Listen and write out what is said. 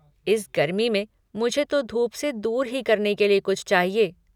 इस गर्मी में, मुझे तो धूप से दूर ही करने के लिए कुछ चाहिए।